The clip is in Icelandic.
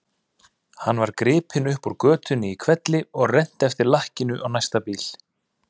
Hann var gripinn upp úr götunni í hvelli og rennt eftir lakkinu á næsta bíl.